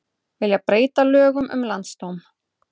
Vilja breyta lögum um landsdóm